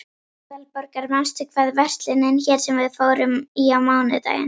Aðalborgar, manstu hvað verslunin hét sem við fórum í á mánudaginn?